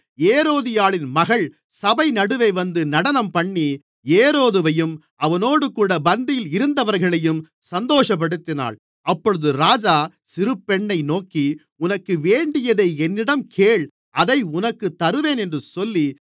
ஏரோதியாளின் மகள் சபை நடுவே வந்து நடனம்பண்ணி ஏரோதுவையும் அவனோடுகூட பந்தியில் இருந்தவர்களையும் சந்தோஷப்படுத்தினாள் அப்பொழுது ராஜா சிறுபெண்ணை நோக்கி உனக்கு வேண்டியதை என்னிடம் கேள் அதை உனக்குத் தருவேன் என்று சொல்லி